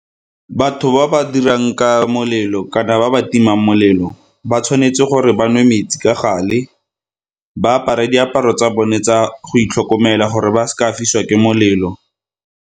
Batho ba ba dirang ka molelo kana ba ba timang molelo ba tshwanetse gore ba nwe metsi ka gale, ba apare diaparo tsa bone tsa go itlhokomela gore ba seka fisiwa ke molelo.